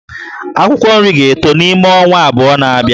Akwụkwọ nri ga-eto n'ime ọnwa abụọ na-abịa